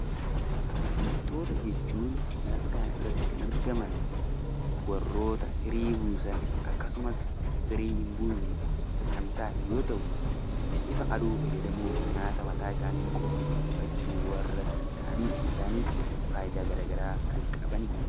Biqiltoota jechuun lafa kanarratti kan argaman warroota firii buusan akkasumas firii hin buufe yoo ta'u, ifa aduu fayyadamuun nyaata mataasaanii qopheeffachuu kan danda'anidha. Isaanis fayidaa garaagaraa kan qabanidha.